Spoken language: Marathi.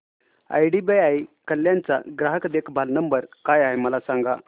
आयडीबीआय कल्याण चा ग्राहक देखभाल नंबर काय आहे मला सांगा